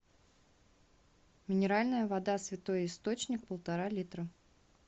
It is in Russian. минеральная вода святой источник полтора литра